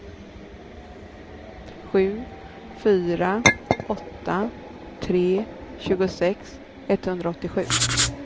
sju fyra åtta tre tjugosex etthundraåttiosju